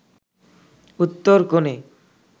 উত্তর কোণে